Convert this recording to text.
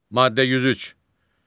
Maddə 103.